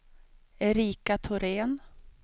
Erika Thorén